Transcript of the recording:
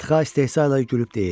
Txaa istehza ilə gülüb deyir: